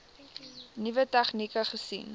nuwe tegnieke gesien